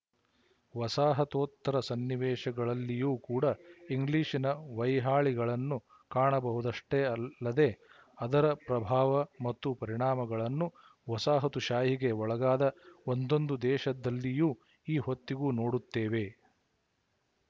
ವಸಾಹತೋತ್ತರ ಸನ್ನಿವೇಶಗಲ್ಲಿಯೂ ಕೂಡ ಇಂಗ್ಲಿಶಿನ ವೈಹಾಳಿಯನ್ನು ಕಾಣಬಹುದಷ್ಟೇ ಅಲ್ಲದೇ ಅದರ ಪ್ರಭಾವ ಮತ್ತು ಪರಿಣಾಮಗಳನ್ನು ವಸಾಹತುಶಾಹಿಗೆ ಒಳಗಾದ ಒಂದೊಂದು ದೇಶದಲ್ಲಿಯೂ ಈ ಹೊತ್ತಿಗೂ ನೋಡುತ್ತೇವೆ